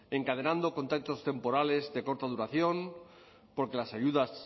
encadenando contratos temporales de corta duración porque las ayudas